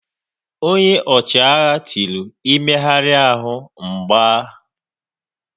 Ọnye ọchịagha tiri "Ị méhari ahụ, m gba"!